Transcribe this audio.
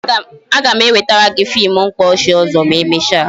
A ga m ewetara gị fim mkpaọchị ọzọ ma emecha